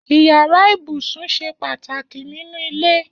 Iyàrá ibúsún ṣé pàtáki ninú ilé